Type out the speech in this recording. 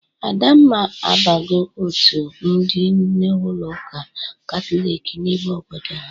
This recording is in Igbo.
Adamma abago otu ndị nne ụlọ ụka katọlik n'ime obodo ha.